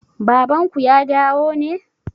Baban ku ya dawo ne?